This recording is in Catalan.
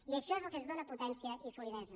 i això és el que ens dóna potència i solidesa